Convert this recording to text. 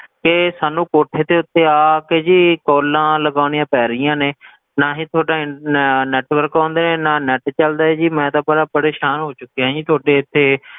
ਤੇ ਸਾਨੂੰ ਕੋਠੇ ਤੇ ਉਤੇ ਆ ਆ ਕੇ ਜੀ calls ਲਗਾਉਣੀਆਂ ਪੈ ਰਹੀਆਂ ਨੇ ਨਾਂ ਹੀ ਤੁਹਾਡਾ ਨੈ~ network ਆਉਂਦੇ ਹੈ, ਨਾ net ਚਲਦਾ ਹੈ ਜੀ, ਮੈਂ ਤਾਂ ਬੜਾ ਪਰੇਸ਼ਾਨ ਹੋ ਚੁਕਿਆ ਜੀ ਤੁਹਾਡੇ ਇੱਥੇ,